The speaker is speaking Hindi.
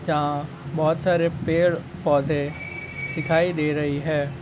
बहोत सारे पेड़ पोधे दिखाइ दे रही है।